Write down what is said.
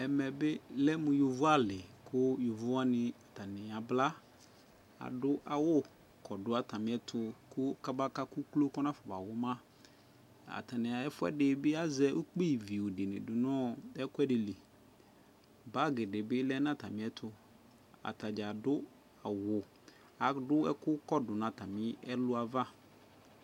Ɛmɛ bi lɛ mʋ yovo ali kʋ yovo wani atani abla Adʋ awʋ kɔdʋ atamiɛtʋ kɔbaka kʋ uklo kɔnafɔbawʋma Atani bi azɛ ukpiviʋ di ni bi du nʋ ɛkʋɛdi li Bagi di bi lɛ nʋ atami ɛtʋ Atadza adʋ awʋ, adʋ ɛkʋ kɔdʋ nʋ atami ɛlʋ w'ava